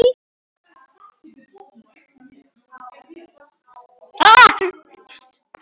Og dætur mínar og Halldóra eru hér á Hólum.